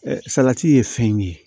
salati ye fɛn ye